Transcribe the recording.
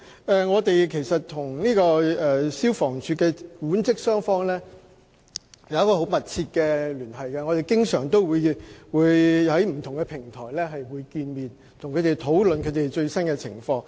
當局與消防處的管職雙方保持密切聯繫，我們經常透過不同的平台溝通，並討論最新情況。